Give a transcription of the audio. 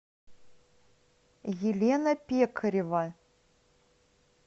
елена пекарева